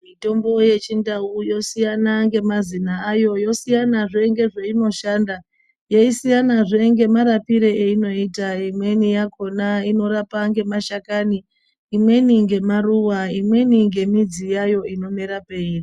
Mitombo yechindau yosiyana ngemazina ayo, yosiyanazve ngezveinoshanda, yeisiyanazve ngemarapire einoita. Imweni yakhona inorapa ngemashakani, imweni ngemaruwa imweni ngemidzi yayo inomera peiri.